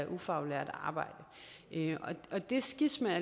ufaglært arbejde og det skisma er